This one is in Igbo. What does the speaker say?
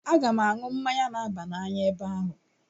Aga m aṅụ mmanya na-aba n'anya ebe ahụ.